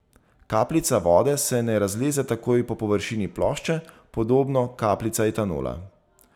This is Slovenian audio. Kapljica vode se ne razleze takoj po površini plošče, podobno kaplica etanola.